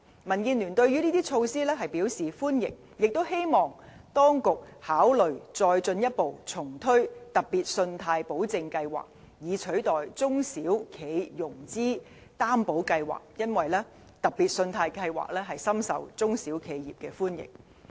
民建聯對這些措施表示歡迎，也希望當局考慮重推特別信貸保證計劃，以取代中小企融資擔保計劃，因為特別信貸保證計劃深受中小企業的歡迎。